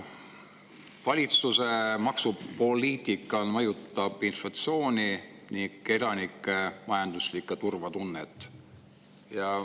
Valitsuse maksupoliitika mõjutab inflatsiooni ning elanike majanduslikku turvatunnet.